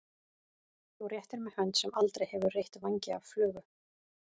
Þú réttir mér hönd sem aldrei hefur reytt vængi af flugu.